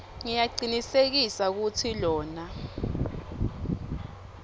ngiyacinisekisa kutsi lona